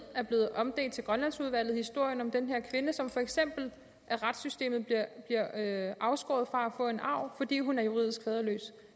er blevet omdelt til grønlandsudvalget nemlig historien om den her kvinde som for eksempel af retssystemet bliver afskåret fra at få en arv fordi hun er juridisk faderløs